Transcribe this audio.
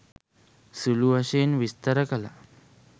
සුළුවශයෙන් විස්තර කළා